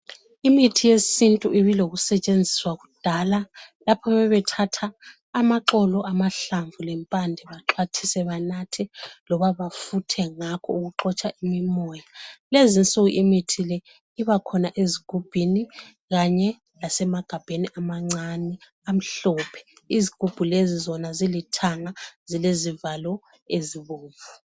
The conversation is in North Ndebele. imithi yesintu ibile lokusetshenziswa kudala lapha ababethatha amaxolo amahlamvu lempande baxhwathise banathe loma bafuthi ngawo ngakho ukuxotsha imimoya kulezinsuku imithi leyi ibakhona ezigubhini kumbe emagabheni amancane amhlophe izigubhulezi ziithanga zilezivalo ezibomvu.